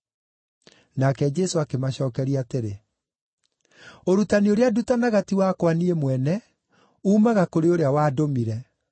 Nake Jesũ akĩmacookeria atĩrĩ, “Ũrutani ũrĩa ndutanaga ti wakwa niĩ mwene. Uumaga kũrĩ ũrĩa wandũmire.